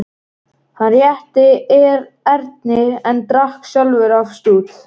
Hann rétti Erni en drakk sjálfur af stút.